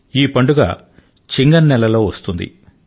ఈ పండుగ చిన్ గమ్ నెల లో వస్తుంది